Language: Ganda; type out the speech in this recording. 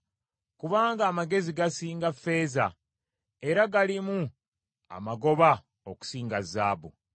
kubanga amagezi gasinga ffeeza era galimu amagoba okusinga zaabu.